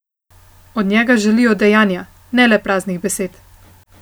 Od njega želijo dejanja, ne le praznih besed.